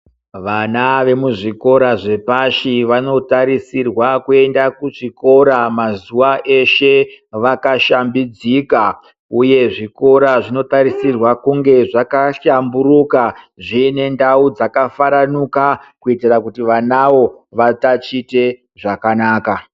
Vana ve muzvikora zvepashi vanotarisirwe kuenda kuzvikora mazuwa eshe vakashambidzika, uye zvikora zvinotarisirwa kunge zvakahlamburuka, zviine ndau dzakafaranuka. Kuitira kuti vanavo vatatiche zvakanaka.